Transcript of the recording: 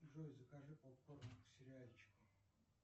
джой закажи попкорн к сериальчику